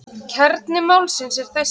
Kjarni málsins er þessi.